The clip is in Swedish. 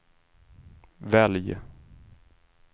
välj